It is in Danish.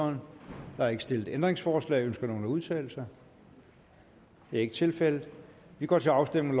der er ikke stillet ændringsforslag ønsker nogen at udtale sig det er ikke tilfældet vi går til afstemning